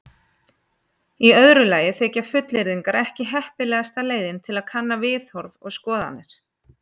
Í öðru lagi þykja fullyrðingar ekki heppilegasta leiðin til að kanna viðhorf og skoðanir.